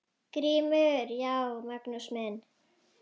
GRÍMUR: Já, Magnús minn!